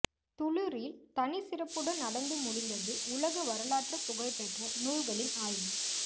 துளிரில் தனி சிறப்புடன் நடந்து முடிந்தது உலக வரலாற்று புகழ் பெற்ற நூல்களின் ஆய்வு